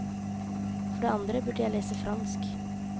For det andre burde jeg lese fransk.